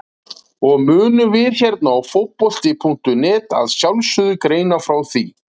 Og munum við hérna á Fótbolti.net að sjálfsögðu greina frá því!